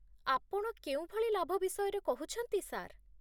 ଆପଣ କେଉଁ ଭଳି ଲାଭ ବିଷୟରେ କହୁଛନ୍ତି, ସାର୍?